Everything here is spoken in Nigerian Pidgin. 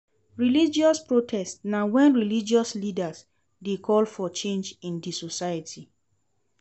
Religious protest na when religious leaders de call for change in di society